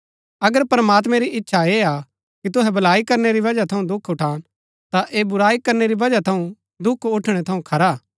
अगर प्रमात्मैं री इच्छा ऐह हा कि तुहै भलाई करनै री वजह थऊँ दुख उठान ता ऐह बुराई करनै री वजह थऊँ दुख उठणै थऊँ खरा हा